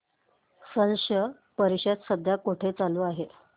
स्लश परिषद सध्या कुठे चालू आहे